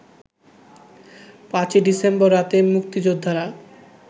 ৫ December রাতে মুক্তিযোদ্ধারা